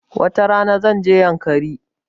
Wata rana, zan je yankari.